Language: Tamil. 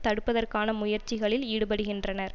தடுப்பதற்கான முயற்சிகளில் ஈடுபடுகின்றனர்